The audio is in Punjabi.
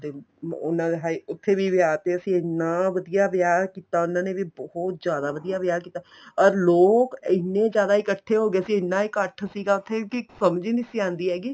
ਤੇ ਉਹਨਾ ਦਾ ਵੀ ਉੱਥੇ ਵਿਆਹ ਤੇ ਅਸੀਂ ਐਨਾਂ ਵਧੀਆ ਵਿਆਹ ਕੀਤਾ ਉਹਨਾ ਨੇ ਵੀ ਬਹੁਤ ਜਿਆਦਾ ਵਧੀਆ ਵਿਆਹ ਕੀਤਾ ਅਰ ਲੋਕ ਐਨੇ ਜਿਆਦਾ ਇੱਕਠੇ ਹੋ ਗਏ ਸੀ ਐਨਾ ਇੱਕਠ ਸੀਗਾ ਉੱਥੇ ਕੀ ਸਮਝ ਹੀ ਨਹੀਂ ਆਂਦੀ ਹੈਗੀ